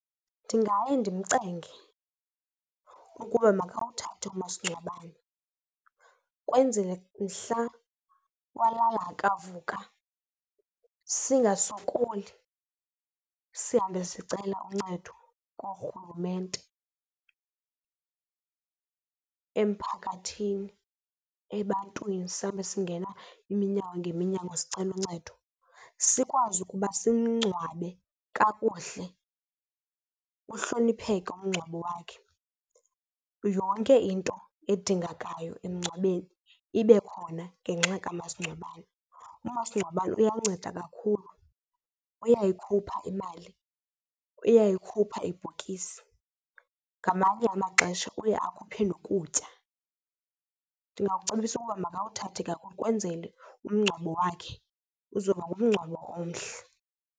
Ndingaye ndimcenge ukuba makawuthathe umasingcwabane kwenzele mhla walala akavuka singasokoli sihambe sicela uncedo koorhulumente, emphakathini, ebantwini sihambe singena iminyango ngeminyango sicelo uncedo. Sikwazi ukuba simngcwabe kakuhle uhlonipheke umngcwabo wakhe, yonke into edingekayo emngcwabeni ibe khona ngenxa kamasingcwabane. Umasingcwabane uyanceda kakhulu uyayikhupha imali uyayikhupha ibhokisi, ngamanye amaxesha uye akhuphe nokutya. Ndingakucebisa ukuba makawuthathe ke kwenzele umngcwabo wakhe uzoba ngumngcwabo omhle.